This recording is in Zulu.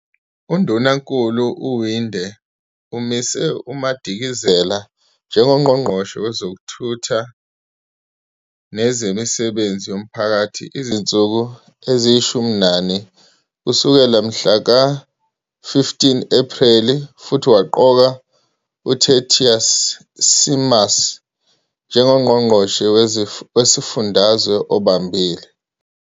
UNdunankulu uWinde umise uMadikizela njengoNgqongqoshe Wezokuthutha Nezemisebenzi Yomphakathi izinsuku eziyi-14 kusukela ngomhla ka-15 Ephreli futhi waqoka uTertuis Simmers njengoNgqongqoshe weSifundazwe obambile.